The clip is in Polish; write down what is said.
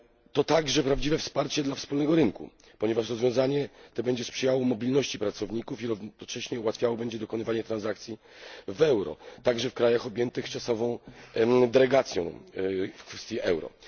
To także prawdziwe wsparcie dla wspólnego rynku, ponieważ rozwiązanie to będzie sprzyjało mobilności pracowników i równocześnie ułatwiało dokonywanie transakcji w euro, także w krajach objętych czasową derogacją w kwestii euro.